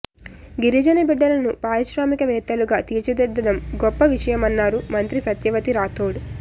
గిరిజన బిడ్డలను పారిశ్రామిక వేత్తలుగా తీర్చిదిద్దడం గొప్ప విషయమన్నారు మంత్రి సత్యవతి రాథోడ్